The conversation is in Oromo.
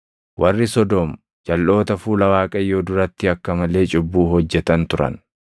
Warri Sodoom jalʼoota fuula Waaqayyoo duratti akka malee cubbuu hojjetan turan.